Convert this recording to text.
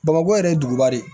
Bamakɔ yɛrɛ ye duguba de ye